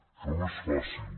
això no és fàcil